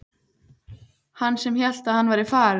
Hann sem hélt að hann væri farinn!